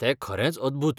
तें खरेंच अद्भुत.